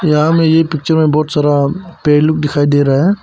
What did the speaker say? यहाँ में ये पिक्चर में बहुत सारा पेड़ लोग दिखाई दे रहा है।